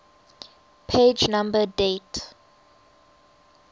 page number date